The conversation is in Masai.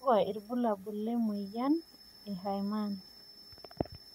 kakua irbulabol le moyian e Herrmann?